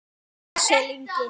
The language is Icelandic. Axel Ingi.